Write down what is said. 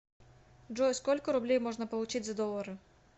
джой сколько рублей можно получить за доллары